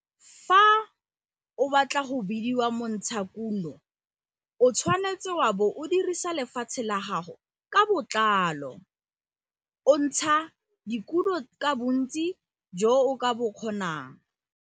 Fa o batla go bidiwa montshakuno, o tshwanetse wa bo o dirisa lefatshe la gago ka botlalo - o ntsha dikuno ka bontsi jo o ka bo kgonang.